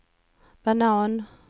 banan